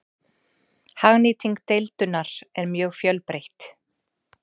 Hagnýting deildunar er mjög fjölbreytt.